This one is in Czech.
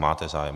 Máte zájem.